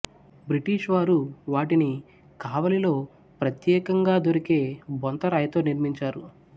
British వారు వాటిని కావలిలో ప్రత్యేకంగా దొరికే బొంతరాయితో నిర్మించారు